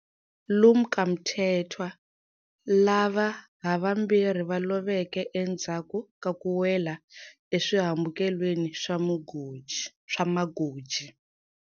Lumka Mkethwa, lava havambirhi va loveke endzhaku ka ku wela eswihambukelweni swa magoji.